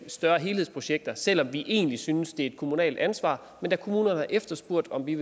større helhedsprojekter selv om vi egentlig synes det er et kommunalt ansvar men da kommunerne har efterspurgt at vi